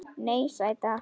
Nei, sæta.